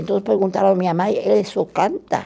Então perguntaram à minha mãe, ele só canta?